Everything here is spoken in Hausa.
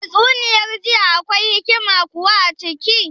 Tatsuniyar jiya akwai hikima kuwa a ciki